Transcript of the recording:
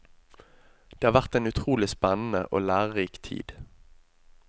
Det har vært en utrolig spennende og lærerik tid.